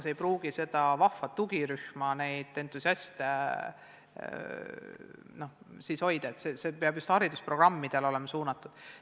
See ei pruugi aga seda vahvat tugirühma, neid entusiaste siis hoida, nii et see peab olema just haridusprogrammidele suunatud.